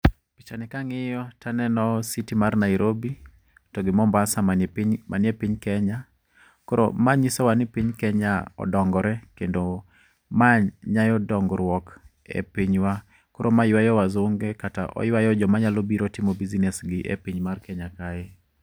Picha ni kang'iyo taneno city mar Nairobi, togi MOmbasa manie piny Kenya. Koro ma nyiso wa ni piny Kenya odongore, kendo ma nyayo dongruok e pinywa. Koro ma ywayo wazinge kata oywayo joma nya biro timo business gi e piny mar Kenya kae.